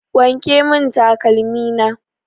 Wanke mun takalmi na!